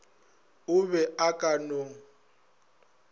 o be a ka no